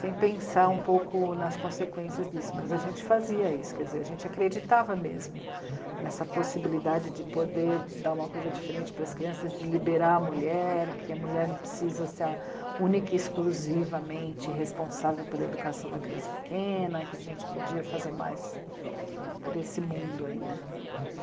sem pensar um pouco nas consequências disso, mas a gente fazia isso, quer dizer, a gente acreditava mesmo nessa possibilidade de poder dar uma coisa diferente para as crianças, de liberar a mulher, que a mulher não precisa ser a única e exclusivamente responsável pela educação da criança pequena, que a gente podia fazer mais por esse mundo aí, né?